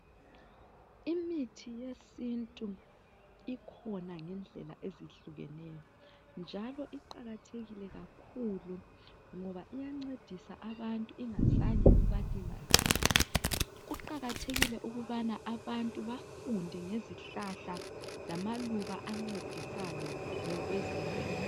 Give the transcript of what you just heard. Imithi yesintu ikhona ngendlela ezehlukeneyo njalo iqakathekile kakhulu ngoba uyancedisa abantu ingazange ibalimaze. Kuqakathekile ukubana abantu bafunde ngezihlahla lamaluba ancedisayo kwezempilo.